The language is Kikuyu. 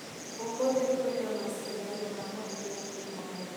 ũmũthĩ kwĩna macindano ma mahenya kĩharo.